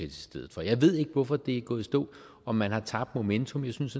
i stedet for jeg ved ikke hvorfor det er gået i stå om man har tabt momentum jeg synes